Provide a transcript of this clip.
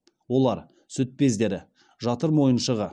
олар сүт бездері жатыр мойыншығы